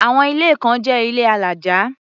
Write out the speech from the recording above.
Àwọn ilé kan jẹ́ ilé alájà.